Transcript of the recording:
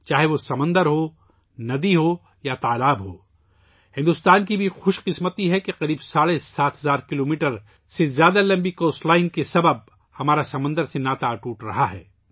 چاہے وہ سمندر ہو، دریا ہو یا تالاب ہو ، بھارت کی یہ خوش قسمتی ہے کہ تقریباٍ ساڑھے سات ہزار کلومیٹر 7500 کلومیٹر طویل ساحلی پٹی کی وجہ سے سمندر سے ہمارا ناطا سمندر اٹوٹ رہا ہے